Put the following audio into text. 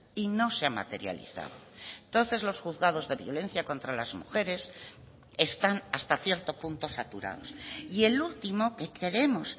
y no se ha materializado entonces los juzgados de violencia contra las mujeres están hasta cierto punto saturados y el último que creemos